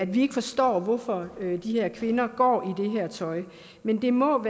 vi ikke forstår hvorfor de her kvinder går i det her tøj men det må